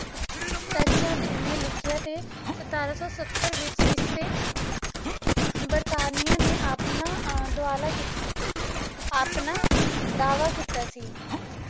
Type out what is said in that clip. ਨੇ ਲਿਖਿਆ ਤੇ ਸਤਾਰਾਂ ਸੌ ਸੱਤਰ ਵਿੱਚ ਇਸ ਤੇ ਬਰਤਾਨੀਆਂ ਨੇ ਆਪਣਾ ਅਹ ਦੁਆਲਾ ਕੀਤਾ ਆਪਣਾ ਦਾਅਵਾ ਕੀਤਾ ਸੀ।